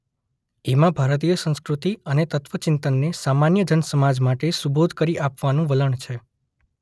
એમાં ભારતીય સંસ્કૃતિ અને તત્વચિંતનને સામાન્ય જનસમાજ માટે સુબોધ કરી આપવાનું વલણ છે.